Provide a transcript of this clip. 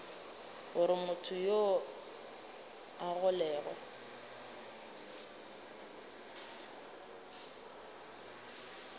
gore motho yoo a golegwe